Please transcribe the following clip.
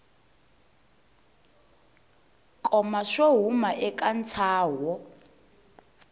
koma swo huma eka ntsaho